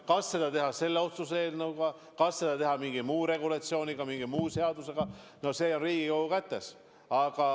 Kas seda sätestada selle otsuse eelnõuga, kas seda teha mingi muu regulatsiooniga, mingi seadusega – see on Riigikogu kätes.